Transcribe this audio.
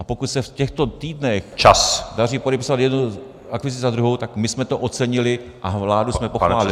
A pokud se v těchto týdnech daří podepisovat jednu akvizici za druhou, tak my jsme to ocenili a vládu jsme pochválili.